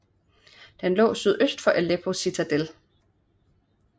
Den lå sydøst for Aleppo Citadel